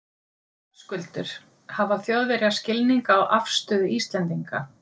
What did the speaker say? Höskuldur: Hafa Þjóðverjar skilning á afstöðu Íslendinga?